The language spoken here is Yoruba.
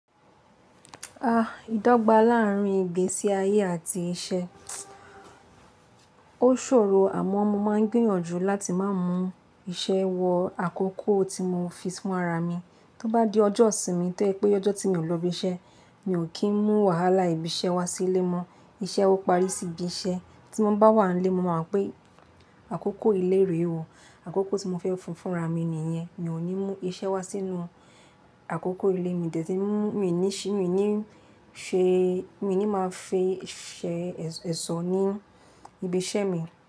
Ah! Ìdọ́gba láàrin ìgbésí ayé àti iṣẹ́, ó ṣòro àmọ́ mo ma ń gbìyànjú láti ma mú iṣẹ́ wọ àkókò tí mo fi fún ara mi. Tó bá di ọjọ́ ìsinmi tẹ ye pé ọjọ́ tí mi ò lọ ibi iṣẹ́, mi ò kin mú wàhálà ibi iṣẹ́ wá sí ilé mọ́. Iṣẹ́ ó parí sí ibi iṣẹ́. Tí mo bá wà ní ilé mo ma mọ̀ pé àkókò ilé rẹ̀ o. Àkókò tí mo fẹ́ fún fúnra mi ni yẹn. Mi ò ní mú iṣẹ́ wá sínú àkókò ilé mi ni ma fẹ́ ṣe ẹṣọ ní ibi iṣẹ́ mi.